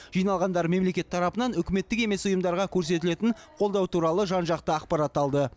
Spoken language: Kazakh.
жиналғандар мемлекет тарапынан үкіметтік емес ұйымдарға көрсетілетін қолдау туралы жан жақты ақпарат алды